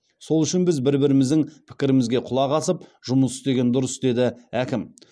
сол үшін біз бір біріміздің пікірімізге құлақ асып жұмыс істеген дұрыс деді әкім